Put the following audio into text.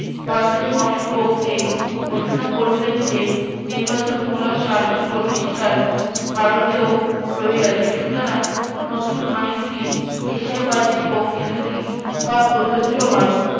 ভারতীয়গণের পক্ষে ঘোষণা করলেন যে নির্বাচনমূলক শাসন প্রতিষ্ঠান ভারতেও রয়ে গেছে সুতরাং নতুন আইনটি এশিয়াবাসীর পক্ষে যদি বা প্রযোজ্য হয়